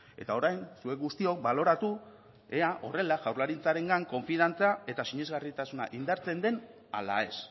eta orain zuek guztiok baloratu ea horrela jaurlaritzarengan konfiantza eta sinesgarritasuna indartzen den ala ez